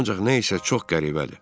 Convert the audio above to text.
Ancaq nəsə çox qəribədir.